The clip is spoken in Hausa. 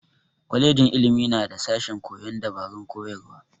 Kwajejin ilimi na da sashen koyon dabarun koyarwa.